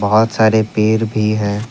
बहुत सारे पेड़ भी है।